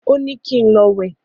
Ó ní kín lọ wé